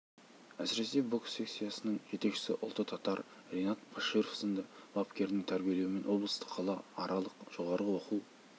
әсіресе бокс секциясының жетекшісі ұлты татар ринад баширов сынды бапкерінің тәрбиелеуімен облыстық қала аралық жоғарғы оқу